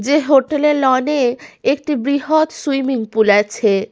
যে হোটেল -এ লন -এ একটি বৃহৎ সুইমিং পুল আছে।